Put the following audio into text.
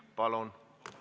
Palun!